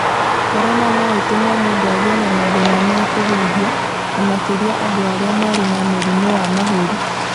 Corona no ĩtũme mũndũ agĩe na mathĩna ma kũhuhia, na makĩria andũ arĩa marĩ na mũrimũ wa mahũri